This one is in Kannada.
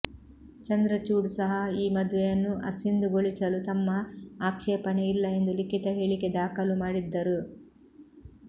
ಚಂದ್ರಚೂಡ್ ಸಹ ಈ ಮದುವೆಯನ್ನು ಅಸಿಂಧುಗೊಳಿಸಲು ತಮ್ಮ ಆಕ್ಷೇಪಣೆ ಇಲ್ಲ ಎಂದು ಲಿಖಿತ ಹೇಳಿಕೆ ದಾಖಲು ಮಾಡಿದ್ದರು